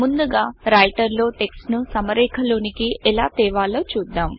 ముందుగా రైటర్ లో టెక్స్ట్ ను సమరేఖలోనికి ఎలా తేవాలో చూద్దాం